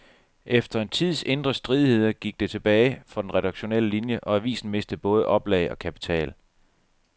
Efter en tids indre stridigheder gik det tilbage for den redaktionelle linie, og avisen mistede både oplag og kapital.